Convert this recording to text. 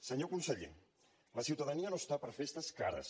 senyor conseller la ciutadania no està per a festes cares